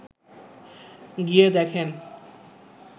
গিয়ে দেখেন